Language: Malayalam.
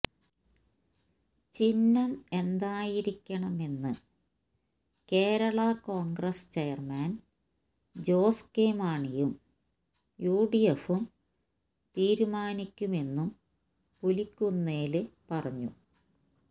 ചിഹ്നം എന്തായിരിക്കണമെന്ന് കേരള കോണ്ഗ്രസ് ചെയര്മാന് ജോസ് കെ മാണിയും യുഡിഎഫും തീരുമാനിക്കുമെന്നും പുലിക്കുന്നേല് പറഞ്ഞു